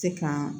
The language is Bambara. Se ka